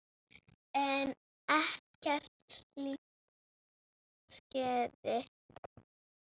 En ekkert slíkt skeði.